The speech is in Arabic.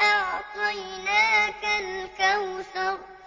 أَعْطَيْنَاكَ الْكَوْثَرَ